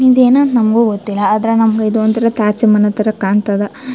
ಇದೇನ್ ಅಂತ ನಮ್ಮಗು ಗೊತ್ತಿಲ್ಲಾ ಆದ್ರೆ ನಮ್ಮಗೆ ಇದೊಂದ್ ತರ ತಾಜ್ ಮನೆ ತರ ಕಾಣತ್ತದ್.